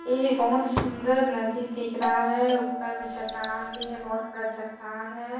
ए बहुत सुंदर नदी दिख रहा है ऊपर में चट्टान भी है बहोत बड़ा चट्टान है।